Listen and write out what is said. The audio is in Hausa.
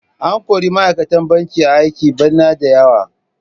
An kori ma'aikatan banki a aiki bana da yawa.